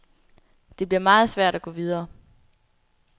Det bliver meget svært at gå videre.